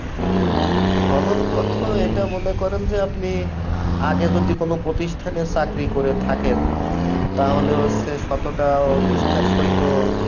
সনদপত্র এটা মনে করেন যে আপনি আগে যদি কোনো প্রতিষ্ঠানে চাকরি করে থাকেন তাহলে হচ্ছে সততা ও নিষ্ঠার সহিত